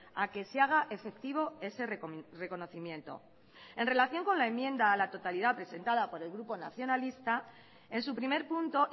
a que se haga efectivo ese reconocimiento en relación con la enmienda a la totalidad presentada por el grupo nacionalista en su primer punto